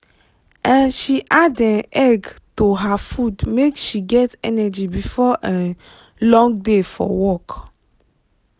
um she add um egg to her food make she get energy before um long day for work.